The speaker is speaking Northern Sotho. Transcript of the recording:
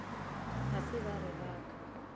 ga se ba re raka